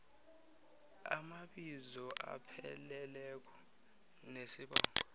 amabizo apheleleko nesibongo